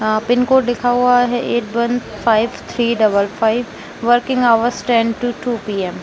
आ pin code लिखा हुवा है eight one five three double five working hours ten to two PM..